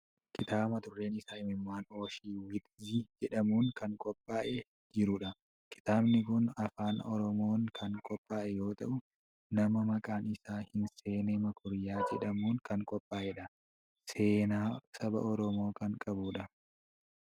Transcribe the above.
Kitaaba mata dureen isaa "Imimmaan Oshiwitzi" jedhamuun kan qophaa'ee jirudha. Kitaabni kun afaan Oromoon kan qophaa'e yoo ta'u, nama maqaan isaa Hinseenee Meekuriyaa jedhamuun kan qophaa'edha. Seenaa saba Oromoo kan qabudha.